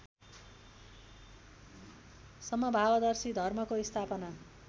समभावदर्शी धर्मको स्थापना